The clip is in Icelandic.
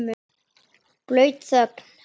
Blaut þögn.